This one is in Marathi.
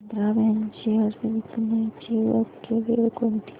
आंध्रा बँक शेअर्स विकण्याची योग्य वेळ कोणती